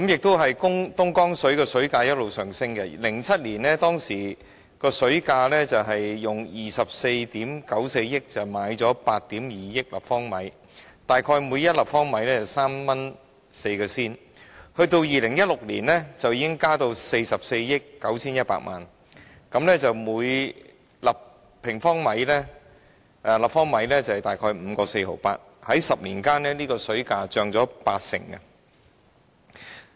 此外，東江水的水價一直上升 ，2007 年是以24億 9,400 萬元購買8億 2,000 萬立方米的水，大約每立方米的水為 3.04 元，至2016年水價已增加至44億 9,100 萬元，每立方米的水約為 5.48 元，在10年間，東江水的水價漲了八成。